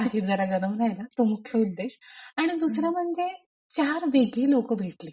पाकीट जरा गरम राहील तो मुख्य उद्देश आणि दुसरा म्हणजे चार वेगळी लोक भेटली.